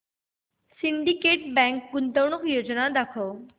Syndicate Bank गुंतवणूक योजना दाखव